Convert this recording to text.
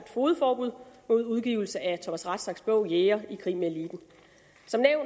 fogedforbud mod udgivelse af thomas rathsacks bog jæger i krig med eliten